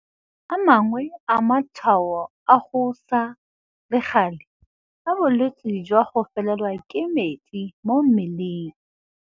A mangwe a matshwao a go sa le gale a bolwetse jwa go felelwa ke metsi mo mmeleng.